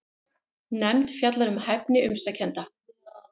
Nefnd fjallar um hæfni umsækjenda